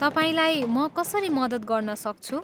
तपाईँलाई म कसरी मद्दत गर्न सक्छु?